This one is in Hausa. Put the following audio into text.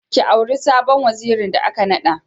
Ki auri sabon wazirin da aka naɗa.